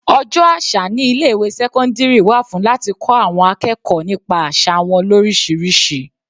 Ọjọ́ àṣà ní ilé ìwé sẹ́cọ́ndírì wà fún láti kọ́ àwọn akẹ́kọ̀ọ́ nípa àsà wọn lorisirisi.